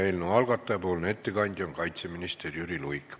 Eelnõu algataja ettekandja on kaitseminister Jüri Luik.